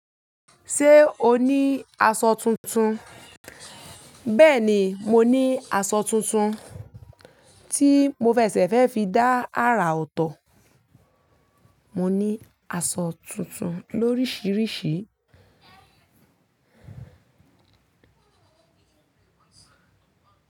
Ṣé o ní aṣọ tuntun? Bẹ́ẹ̀ ni, mo ní aṣọ tuntun tí mo fẹsẹ̀ fẹ́ fi dá àrà ọ̀tọ̀. Mo ní aṣọ tuntun lóríṣìíríṣìí.